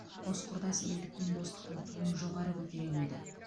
қос құрдас елдік пен достықтың туын жоғары көтере білді